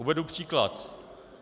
Uvedu příklad.